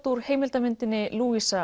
úr heimildarmyndinni